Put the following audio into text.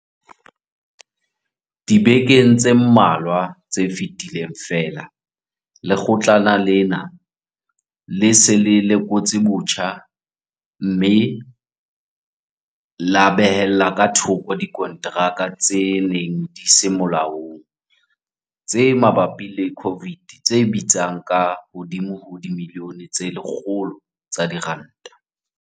Dibekeng tse mmalwa tse fetileng feela, Lekgotlana lena le se le lekotse botjha mme la behella ka thoko dikonteraka tse neng di se molaong tse mabapi le COVID tse bitsang ka hodimo ho dimilione tse 100 tsa diranta.